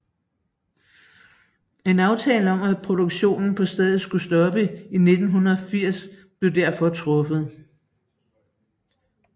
En aftale om at produktinen på stedet skulle stoppe i 1980 blev derfor truffet